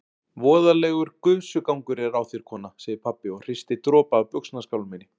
Voðalegur gusugangur er á þér kona, segir pabbi og hristir dropa af buxnaskálminni.